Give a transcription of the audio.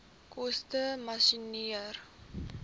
koste masjinerie